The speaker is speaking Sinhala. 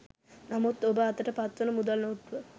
නමුත් ඔබ අතට පත්වන මුදල් නෝට්ටුව